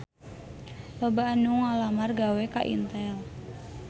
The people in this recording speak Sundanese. Loba anu ngalamar gawe ka Intel